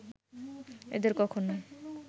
এদের কখনও